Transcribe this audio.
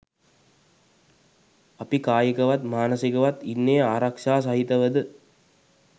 අපි කායිකවත් මානසිකවත් ඉන්නේ ආරක්ෂා සහිතවද?